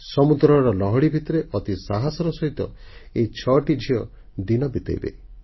ସମୁଦ୍ରର ଲହଡ଼ି ଭିତରେ ଅତି ସାହସର ସହିତ ଏ 6 ଟି ଝିଅ ଦିନ ବିତେଇବେ